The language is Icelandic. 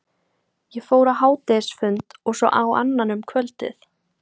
Ég fór á hádegisfund, og svo á annan um kvöldið.